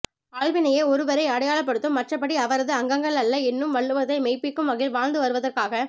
ஆள்வினையே ஒருவரை அடையாளப்படுத்தும் மற்றபடி அவரது அங்கங்கள் அல்ல என்னும் வள்லுவத்தை மெய்ப்பிக்கும் வகையில் வாழ்ந்து வருவதற்காக